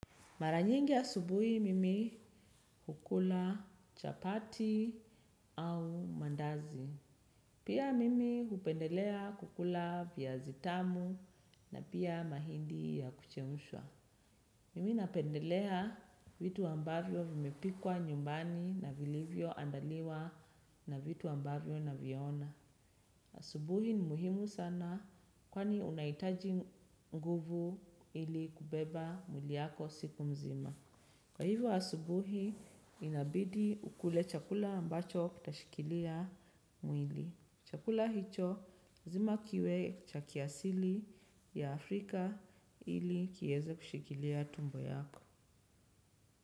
Mara nyingi asubuhi mimi hukula chapati au mandazi. Pia mimi hupendelea kukula viazi tamu na pia mahindi ya kuchemshwa. Mimi napendelea vitu ambavyo vimepikwa nyumbani na vilivyo andaliwa na vitu ambavyo na viona. Asubuhi ni muhimu sana kwani unaitaji nguvu ili kubeba mwili yako siku mzima. Kwa hivyo asubuhi inabidi ukule chakula ambacho kitashikilia mwili. Chakula hicho lazima kiwe cha kiasili ya Afrika ili kieze kushikilia tumbo yako.